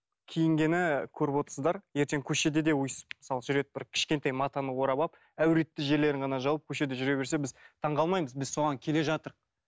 киінгені көріп отырсыздар ертең көшеде де өстіп мысалы жүреді бір кішкентай матаны орап алып әуретті жерлерін ғана жауып көшеде жүре берсе біз таңғалмаймыз біз соған келе